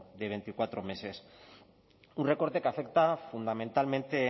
de veinticuatro meses un recorte que afecta fundamentalmente